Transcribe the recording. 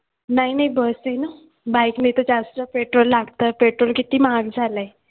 नाही नाही bus आहे ना bike ने तर जास्त petrol लागतं petrol किती महाग झालंय.